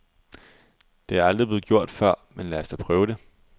Det er aldrig blevet gjort før, men lad os da prøve det.